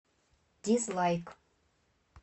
дизлайк